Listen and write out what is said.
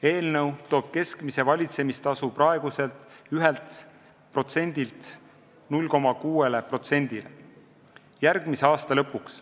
Eelnõu toob keskmise valitsemistasu praeguselt 1%-lt 0,6%-le järgmise aasta lõpuks.